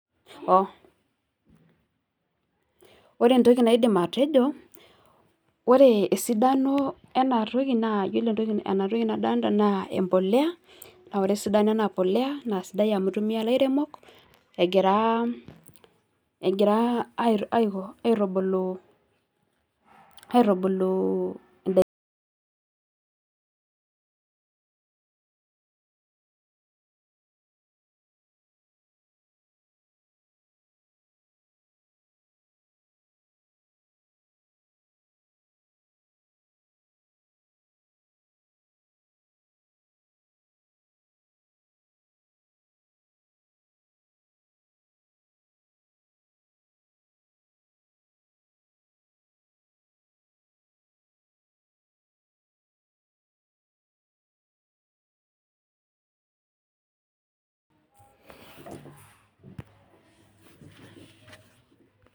Ore entoki naidim atejo, ore esidano ena toki naa iyiolo enatoki ena toki nadolita naa empolea. Naa ore esidano ena polea naa eitumiya ilairemok egira aitubulu indaiki pause